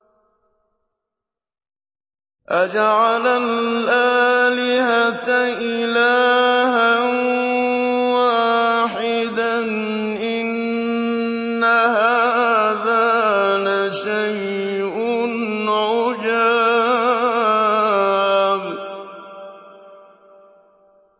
أَجَعَلَ الْآلِهَةَ إِلَٰهًا وَاحِدًا ۖ إِنَّ هَٰذَا لَشَيْءٌ عُجَابٌ